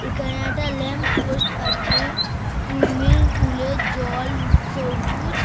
এখানে একটা lamp post আছে সুইমিং পুল -এর জল সবুজ ।